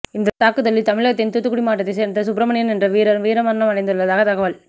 இந்த தாக்குதலில் தமிழகத்தின் தூத்துக்குடி மாவட்டத்தைச் சேர்ந்த சுப்ரமணியன் என்ற வீரர் வீரமரணம் அடைந்துள்ளதாக தகவல்